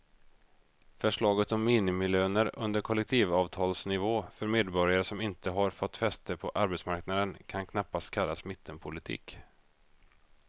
Förslaget om minimilöner under kollektivavtalsnivå för medborgare som inte har fått fäste på arbetsmarknaden kan knappast kallas mittenpolitik.